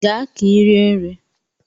Gaa ka ị rie nri!